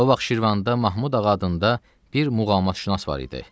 O vaxt Şirvanda Mahmud ağa adında bir muğamatşünas var idi.